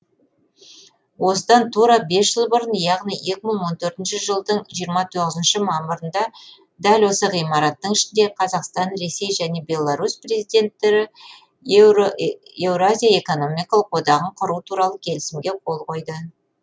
осыдан тура бес жыл бұрын яғни екі мың он төртінші жылдың жиырма тоғызыншы мамырында дәл осы ғимараттың ішінде қазақстан ресей және беларусь президенттері еуразия экономикалық одағын құру туралы келісімге қол қойды